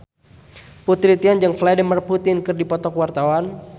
Putri Titian jeung Vladimir Putin keur dipoto ku wartawan